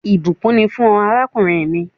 Ìbùkún ni fún ọ, àràkùnrin mi